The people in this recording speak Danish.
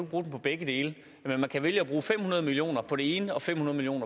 bruge den på begge dele men man kan vælge at bruge fem hundrede million kroner på det ene og fem hundrede million